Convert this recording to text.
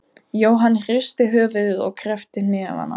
Jóhann hristi höfuðið og kreppti hnefana.